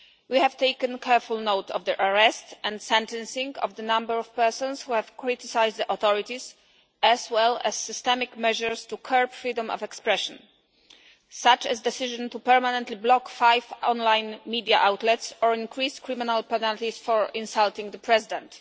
We have taken careful note of the arrest and sentencing of the number of persons who have criticised the authorities, as well as systemic measures to curb freedom of expression, such as a decision to permanently block five online media outlets or increase criminal penalties for insulting the President.